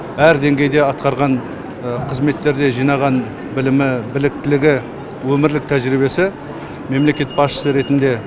әр деңгейде атқарған қызметтерде жинаған білімі біліктілігі өмірлік тәжірибесі мемлекет басшысы ретінде